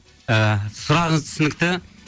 і сұрағыңыз түсінікті